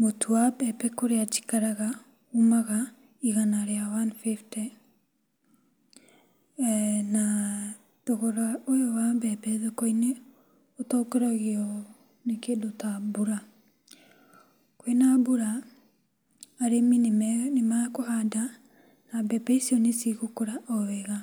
Mũtu wa mbembe kũrĩa njikaraga ũmaga igana rĩa one fifty. Na thogora ũyũ wa mbembe thokoinĩ ũtongoragio nĩ kĩndũ ta mbura. Kwĩna mbura arĩmi nĩmekũhanda na mbembe icio nĩcigũkũra o wega,